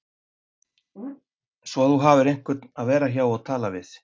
Svo þú hafir einhvern til að vera hjá og tala við